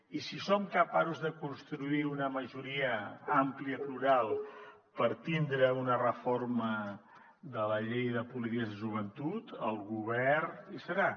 i si som capaços de construir una majoria àmplia i plural per tindre una reforma de la llei de polítiques de joventut el govern hi serà